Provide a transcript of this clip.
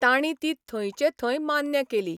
तांणी ती थंयचे थंय मान्य केली.